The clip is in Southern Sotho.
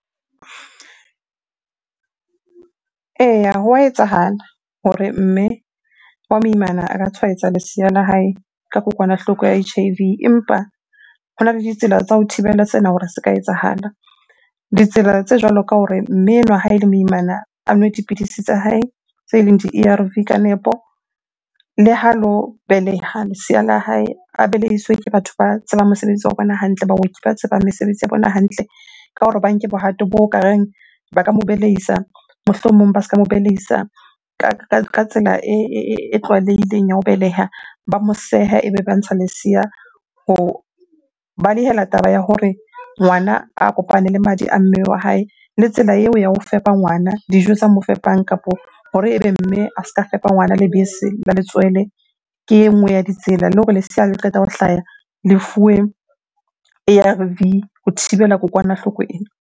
Eya, hwa etsahala hore mme wa moimana a ka tshwaetsa lesea la hae ka kokwanahloko ya H_I_V. Empa hona le ditsela tsa ho thibela sena hore se ka etsahala. Ditsela tse jwalo ka hore mme enwa ha ele moimana a nwe dipidisi tsa hae tse leng di-A_R_V ka nepo. Le ha lo beleha lesea la hae, a belehiswe ke batho ba tsebang mosebetsi wa bona hantle. Baoki ba tsebang mesebetsi ya bona hantle ka hore ba nke bohato bo ka reng ba ka mo balehisa. Mohlomong ba ska mo bedisa ka tsela e tlwaelehileng ya ho beleha. Ba mo sehe, ebe ba ntsha lesea ho balehela taba ya hore ngwana a kopane le madi a mmele wa hae. Le tsela eo ya ho fepa ngwana, dijo tsa mo fepang kapo hore ebe mme a se ka fepa ngwana lebese la letswele ke e nngwe ya ditsela. Le hore lesea ha le qeta ho hlaya le fuwe A_R_V ho thibela kokwanahloko ena.